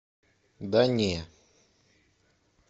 да не